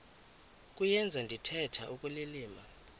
kuyenza ndithetha ukulilima